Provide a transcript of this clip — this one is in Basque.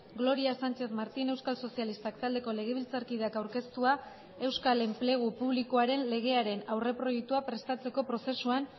gloria sánchez martín euskal sozialistak taldeko legebiltzarkideak aurkeztua euskal enplegu publikoaren legearen aurreproiektua prestatzeko prozesuan